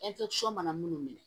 mana munnu minɛ